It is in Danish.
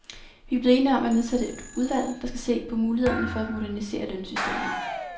Vi er blevet enige om at nedsætte et udvalg, der skal se på mulighederne for at modernisere lønsystemet.